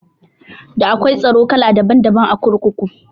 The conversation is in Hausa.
Da akwai tsaro kala daban daban a kurkuku